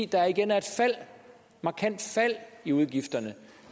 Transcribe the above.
der igen er et markant fald i udgifterne